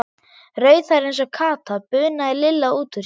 Rauðhærð eins og Kata, bunaði Lilla út úr sér.